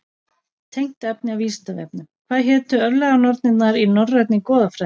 Tengt efni á Vísindavefnum: Hvað hétu örlaganornirnar í norrænni goðafræði?